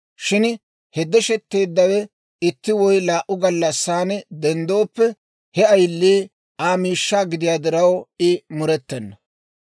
Shin he deshetteeddawe itti woy laa"u gallassaan denddooppe, he ayilii Aa miishshaa gidiyaa diraw, I murettena.